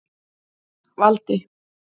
Valdi